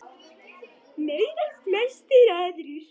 Meira en flestir aðrir.